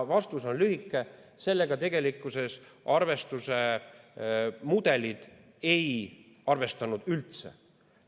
Vastus on lühike: sellega arvestuse mudelid ei arvestanud tegelikkuses üldse.